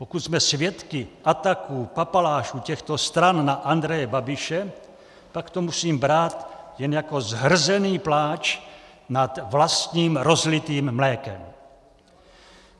Pokud jsme svědky ataků papalášů těchto stran na Andreje Babiše, pak to musím brát jen jako zhrzený pláč nad vlastním rozlitým mlékem.